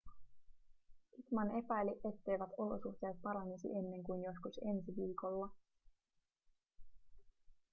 pittman epäili etteivät olosuhteet paranisi ennen kuin joskus ensi viikolla